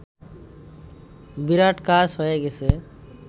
বিরাট কাজ হয়ে গেছে